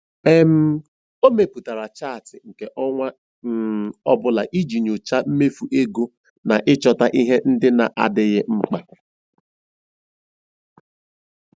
um O mepụtara chaatị nke ọnwa um ọ bụla iji nyochaa mmefu ego na ịchọta ihe ndị na-adịghị mkpa.